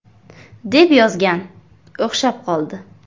deb yozgan, o‘xshab qoldi.